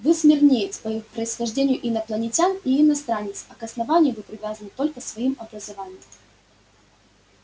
вы смирниец по происхождению инопланетян и иностранец а к основанию вы привязаны только своим образованием